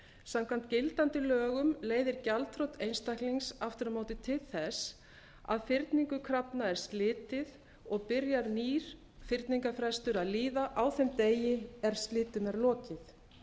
samkvæmt gildandi lögum leiðir gjaldþrot einstaklings aftur á móti til þess að fyrningu krafna er slitið og byrjar nýr fyrningarfrestur að líða á þeim degi er slitum er lokið